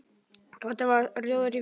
Tóti varð rjóður í framan.